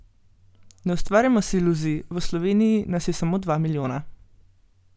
Ne ustvarjajmo si iluzij, v Sloveniji nas je samo dva milijona.